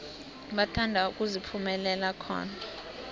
bathanda ukuziphumulela khona